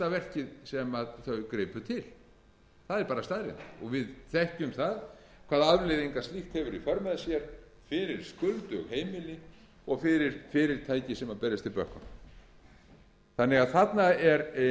verkið sem þau gripu til það er bara staðreynd við þekkjum hvaða afleiðingar slíkt hefur í för með sér fyrir skuldug heimili og fyrir fyrirtæki sem berjast í bökkum þarna er því